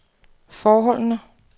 forholdene